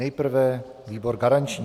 Nejprve výbor garanční.